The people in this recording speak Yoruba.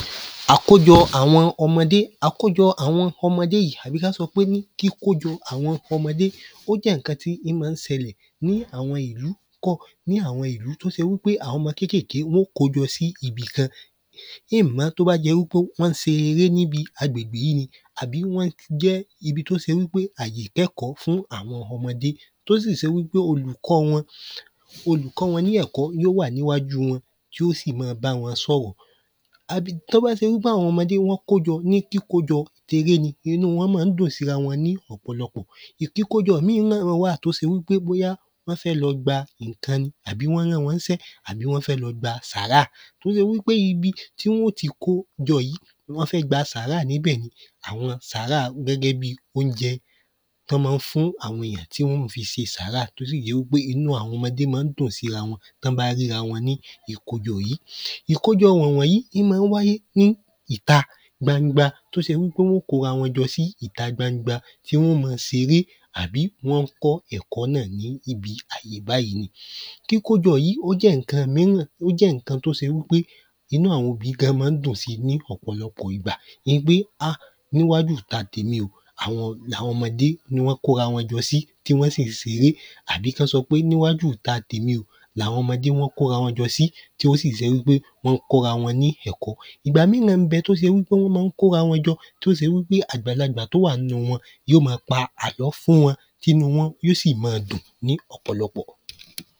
Àkójọ àwọn ọmọdé Àkójọ àwọn ọmọdé yìí àbí ká sọ pé ní kíkójọ àwọn ọmọdé yìí ó jẹ́ àwọn ìnkan tí ín ma ń sẹlẹ̀ ní àwọn ìlú ní àwọn ìlú t’ó se wí pé wọ́n ó kójọ sí ibì kan ín-ìn mọ t’ó bá jẹ wí pé wọ́n se eré n’íbi agbègbè yí ni àbí wọ́n jẹ́ ibi t’ó se wí pé àyè ìkẹ́kọ́ fún àwọn ọmọdé t’ó sì se wí pé olùkọ́ wọn olùkọ́ wọn ni ẹ̀kọ́ yó wà n’íwájú wọn tí ó sì ma báwọn sọ̀rọ̀ àbí t’ó bá se wí pé àwọn ọmọdé wọ́n kójọ ní kíkójọ eré ni ibú wọn má ń dùn s’íra wọn Ìkíkójọ míì náà wà t’ó se wí pé bóyá wọ́n fẹ́ lọ gba ìnkan ni àbí wọ́n rán wọ́n ní sẹ àbí wọ́n fẹ́ lọ gba sàárà t’ó se wí pé ibi tí wọ́n ó ti kó jọ yí tí wọ́n fẹ́ gba sàárà ní bẹ̀ ni àwọn sàárà gẹ́gẹ́ bi óunjẹ t’ọ́ má ń fún àwọn èyàn tí wọ́n ó ma fi se sàárà t’ó sì jẹ́ wí pé inú àwọn ọmọdé má ń dùn s’íra wọn t’ọ́n bá ríra wọ́n ni ìkọ́ja yìí Ìkọ́ja wọ̀n wọ̀nyí ín ma ń wáyé ní ìta gbangba. Ìkọ́ja wọ̀n wọ̀nyí ín ma ń wáyé ní ìta gbangba. t’ó se wí pé wọ́n ó kó’ra wọn jọ sí ìta gbangba tí wọ́n ó ma seré àbí wọ́n ń kọ́ ẹ̀kọ́ náà ní ibi àyè báyí. kíkójọ yí ó jẹ́ ǹkan míràn ó jẹ ǹkan t’ó se wí pé inú àwọn òbí gan má ń dùn si ní ọ̀pọ̀lọpọ̀ ìgbà ni pé hà! n’íwájú ìta t’èmi o àwọn ọmọdé ní wọ́n kó’ra wọn jọ sí àbí k’ọ́n sọ pé n’íwájú ìta t’èmi o l’àwọn ọmọdé wọ́n kó ‘ra wọn jọ sí tí wọ́n sì jẹ́ wí pé wọ́n kọ́ ra wọn ní ẹ̀kọ́ Ìgbà náà ń bẹ t’ó se wí pé wọ́n má ń kó ‘ra wọn jọ t’ó se wí pé àgbàlagbà t‘ó wà ‘nú wọn yó ma pa àlọ́ fún wọn t’ínú wọ́n yí ó sì ma dùn ní ọ̀pọ̀lọpọ̀.